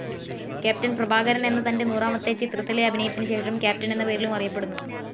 Captain Prabhakaran എന്ന തൻ്റെ നൂറാമത്തെ ചിത്രത്തിലെ അഭിനയത്തിന് ശേഷം ക്യാപ്റ്റൻ എന്ന പേരിലും അറിയപ്പെടുന്നു.